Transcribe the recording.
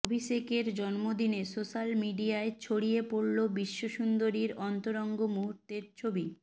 অভিষেকের জন্মদিনে সোশ্যাল মিডিয়ায় ছড়িয়ে পড়ল বিশ্বসুন্দরীর অন্তরঙ্গ মুহূর্তের ছবি